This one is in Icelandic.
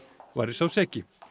væri sá seki